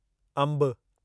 अंबु